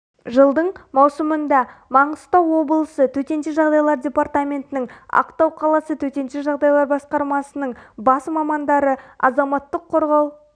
жылдың маусымында маңғыстау облысы төтенше жағдайлар департаментінің ақтау қаласы төтенше жағдайлар басқармасының бас мамандары азаматтық қорғау